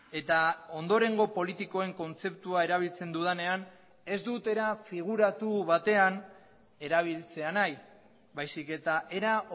eta ondorengo politikoen kontzeptua erabiltzen dudanean ez dut era figuratu batean erabiltzea nahi baizik eta era